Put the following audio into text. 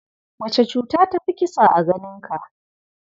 Wace cuta ta fi kisa a ganinka?